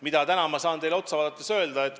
Mida ma täna saan teile otsa vaadates öelda?